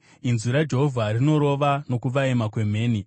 Inzwi raJehovha rinorova nokuvaima kwemheni.